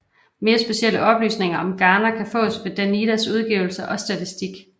Mere specielle oplysninger om Ghana kan fås fra Danidas udgivelser og statistik